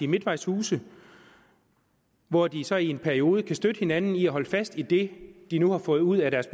midtvejshuse hvor de så i en periode kan støtte hinanden i at holde fast i det de nu har fået ud af deres